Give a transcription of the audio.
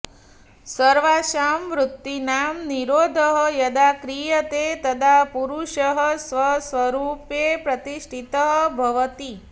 सर्वासां वृत्तीनां निरोधः यदा क्रियते तदा पुरुषः स्वस्वरूपे प्रतिष्ठितः भवति